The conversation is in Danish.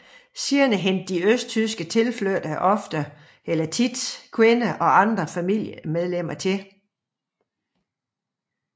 Senere hentede de østtyske tilflyttere ofte kvinder og andre familiemedlemmer til